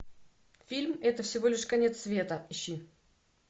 фильм это всего лишь конец света ищи